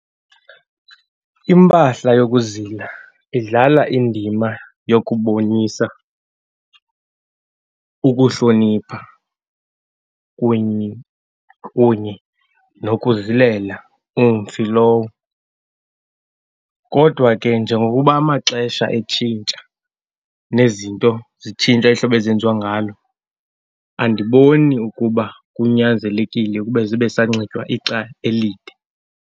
Impahla yokuzila idlala indima yokubonisa ukuhlonipha kunye nokuzilela umfi lowo. Kodwa ke, njengokuba amaxesha etshintsha nezinto zitshintsha ihlobo ezenziwa ngalo, andiboni ukuba kunyanzelekile ukube zibe sanxitywa ixa elide.